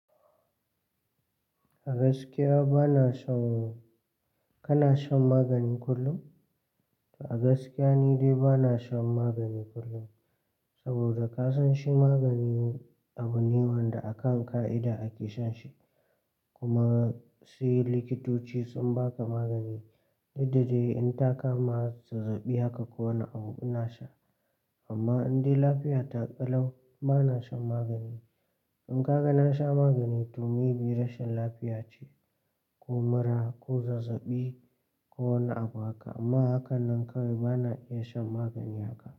A gaskiya bana shan-- kana shan magani kullum? A gaskiya ni dai bana shan magani kullum, saboda ka san shi magani abu ne wanda akan ƙa'ida ake shan shi, kuma sai likitoci sun baka magani. Daddare in ta kama zazzabi haka ko wani abu ina sha. Amma in dai lafiya ta kalau bana shan magani. In ka ga na sha magani to me bi rashin lafiya ce ko mura ko zazzabi ko wani abu haka. Amma a hakan nan kawai bana iya shan magani haka.